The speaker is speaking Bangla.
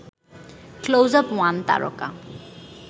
ক্লোজআপ ওয়ান তারকা